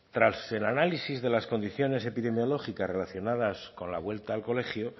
tras el análisis de las condiciones epidemiológicas relacionadas con la vuelta al colegio